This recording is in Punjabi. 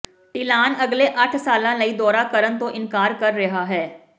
ਡਿਲਾਨ ਅਗਲੇ ਅੱਠ ਸਾਲਾਂ ਲਈ ਦੌਰਾ ਕਰਨ ਤੋਂ ਇਨਕਾਰ ਕਰ ਰਿਹਾ ਹੈ